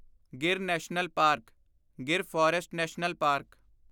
Gir national park Gir forest national park